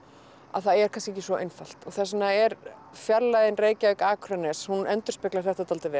að það er kannski ekki svo einfalt þess vegna er fjarlægðin Reykjavík Akranes hún endurspeglar þetta dálítið vel